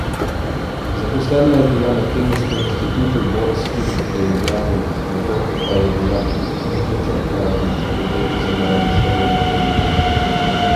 Zaposlena je bila na Kemijskem inštitutu Boris Kidrič v Ljubljani, nato pa je bila knjižničarka na Fakulteti za naravoslovje in tehnologijo.